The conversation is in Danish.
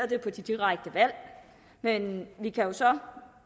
det på de direkte valg men vi kan jo så